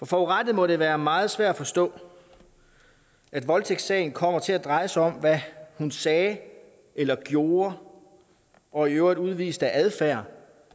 forurettede må det være meget svært at forstå at voldtægtssagen kommer til at dreje sig om hvad hun sagde eller gjorde og i øvrigt udviste af adfærd